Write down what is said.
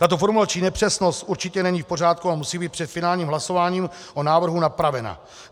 Tato formulační nepřesnost určitě není v pořádku a musí být před finálním hlasováním o návrhu napravena.